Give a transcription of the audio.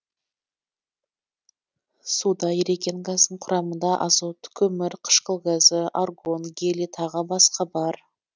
суда еріген газдың құрамында азот көмір қышқыл газы аргон гелий тағы басқа бар